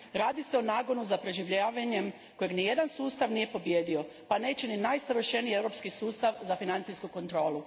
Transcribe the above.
Radi se o nagonu za preživljavanje kojeg nijedan sustav nije pobijedio, pa neće ni najsavršeniji europski sustav za financijsku kontrolu.